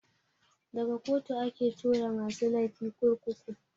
Daga kotu ake tura masu laifi kurkuku.